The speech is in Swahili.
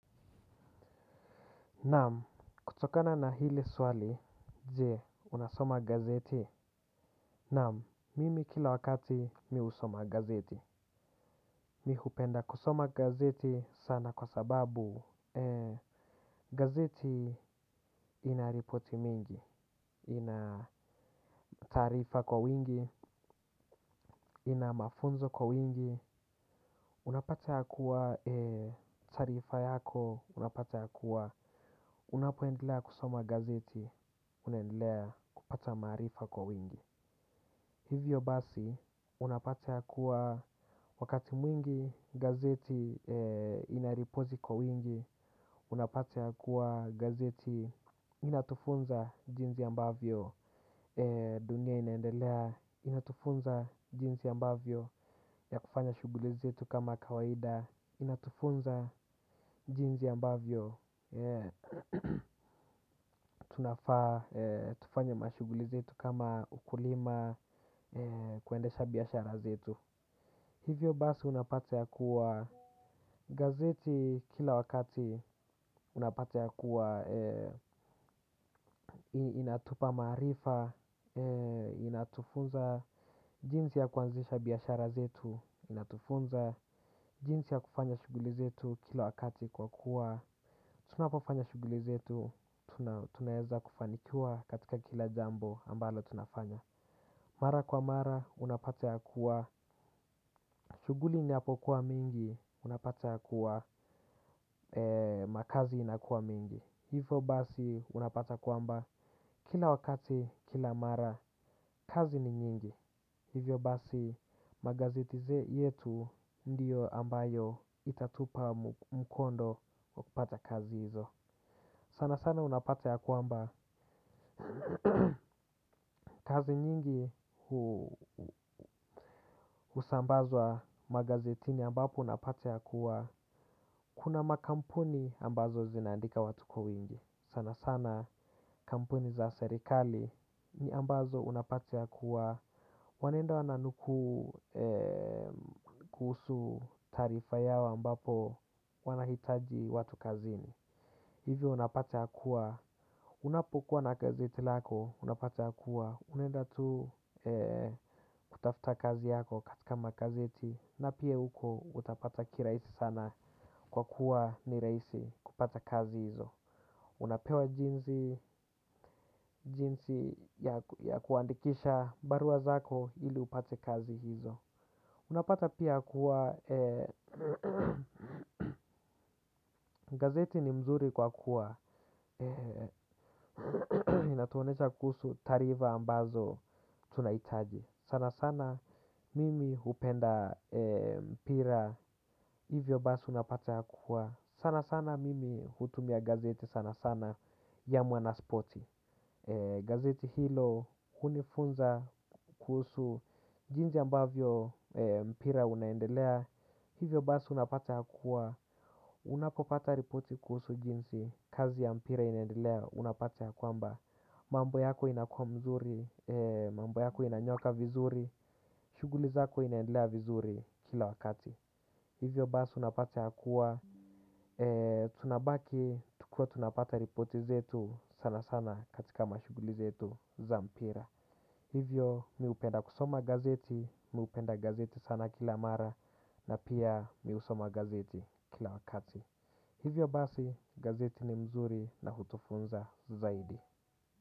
Naam, kutokana na hili swali, je, unasoma gazeti. Naam, mimi kila wakati mimi husoma gazeti. Mimi hupenda kusoma gazeti sana kwa sababu gazeti inaripoti mingi, inataarifa kwa wingi, inamafunzo kwa wingi. Unapata ya kuwa taarifa yako, unapata ya kuwa, unapoendelea kusoma gazeti, unaendelea kupata maarifa kwa wingi. Hivyo basi, unapata ya kuwa wakati mwingi gazeti inaripoti kwa wingi, unapata ya kuwa gazeti inatufunza jinsi ambavyo dunia inaendelea, inatufunza jinsi ambavyo ya kufanya shughuli zetu kama kawaida. Inatufunza jinsi ambavyo tunafaa. Tufanya mashughuli zetu kama ukulima kuendesha biashara zetu. Hivyo basi unapata ya kuwa gazeti kila wakati unapata ya kuwa inatupa maarifa. Inatufunza jinsi ya kuanzisha biashara zetu. Inatufunza jinsi ya kufanya shughuli zetu kila wakati kwa kuwa tunapo fanya shughuli zetu. Tunaweza kufanikiwa katika kila jambo ambalo tunafanya. Mara kwa mara unapata ya kuwa shughuli inapo kuwa mingi. Unapata ya kuwa makazi inakuwa mingi. Hivyo basi unapata kwamba kila wakati kila mara kazi ni nyingi. Hivyo basi magazeti yetu. Ndiyo ambayo itatupa mkondo wakupata kazi hizo. Sana sana unapata ya kwamba kazi nyingi husambazwa magazetini ambapo unapata ya kuwa kuna makampuni ambazo zinaandika watu kwa wingi. Sana sana kampuni za serikali ni ambazo unapata ya kuwa Wanendo ananukuu kuhusu taarifa yao ambapo wanahitaji watu kazini. Hivyo unapata kuwa. Unapokuwa na gazeti lako, unapata kuwa. Unaenda tu kutafuta kazi yako katika magazeti. Na pia huko utapata kirahisi sana kwa kuwa ni rahisi kupata kazi hizo. Unapewa jinsi ya kuandikisha barua zako ili upate kazi hizo. Unapata pia kuwa, gazeti ni mzuri kwa kuwa, inatuonesha kuhusu taarifa ambazo tunahitaji. Sana sana mimi hupenda mpira, hivyo basi unapata kuwa. Sana sana mimi hutumia gazeti sana sana ya mwa na spoti. Gazeti hilo hunifunza kuhusu, jinsi ambavyo mpira unaendelea. Hivyo basi unapata ya kuwa, unapopata ripoti kuhusu jinsi, kazi ya mpira inaendelea unapata ya kwamba mambo yako inakua mzuri, mambo yako inanyoka vizuri, shughuli zako inaendelea vizuri kila wakati. Hivyo basi unapata ya kuwa, tunabaki, tukiwa tunapata ripoti zetu sana sana katika mashughuli zetu za mpira. Hivyo mimi hupenda kusoma gazeti, mimi hupenda gazeti sana kila mara na pia mimi husoma gazeti kila wakati. Hivyo basi gazeti ni mzuri na hutufunza zaidi.